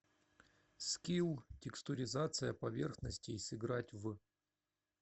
скилл текстуризация поверхностей сыграть в